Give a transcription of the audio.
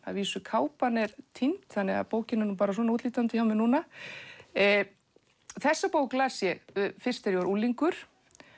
kápan er týnd þannig að bókin er svona útlítandi hjá mér þessa bók las ég fyrst þegar ég var unglingur